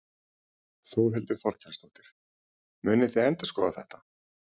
Þórhildur Þorkelsdóttir: Munið þið endurskoða þetta?